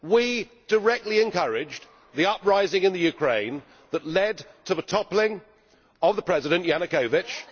We directly encouraged the uprising in the Ukraine that led to the toppling of President Yanukovych